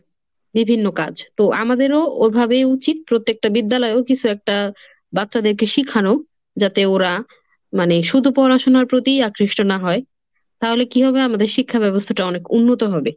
বিভিন্ন কাজ, তো আমাদেরও ওভাবেই উচিত। প্রত্যেকটা বিদ্যালয়েও কিছু একটা বাচ্চাদেরকে শিখানো, যাতে ওরা মানে শুধু পড়াশোনার প্রতি আকৃষ্ট না হয় তাহলে কি হবে আমাদের শিক্ষা ব্যবস্থাটা অনেক উন্নত হবে।